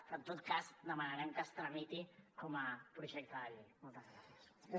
però en tot cas demanarem que es tramiti com a projecte de llei